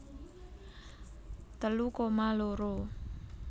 telu koma loro